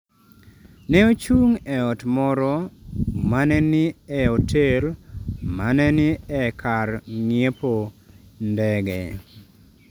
Ne ochung’ e ot moro ma ne ni e otel ma ne ni e kar ng’iepo ndege.